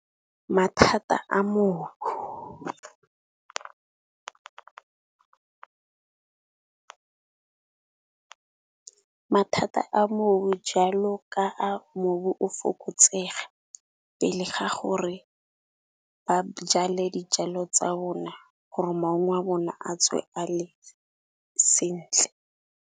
Mathata a moo mathata a mobu jalo ka a mobu o fokotsega, pele ga gore ba jale dijalo tsa bona gore maungo a bona a tswe ale sentle.